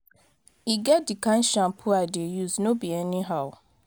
e get the kin shampoo i dey use no be anyhow.